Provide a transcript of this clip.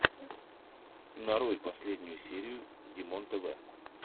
нарой последнюю серию димонтв